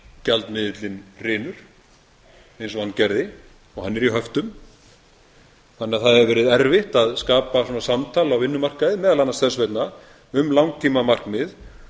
gjaldmiðillinn hrynur eins og hann gerði og hann er í höftum þannig að það hefur verið erfitt að skapa svona samtal á vinnumarkaði meðal annars þess vegna um langtímamarkmið